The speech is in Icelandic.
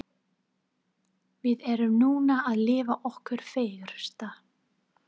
Við erum núna að lifa okkar fegursta.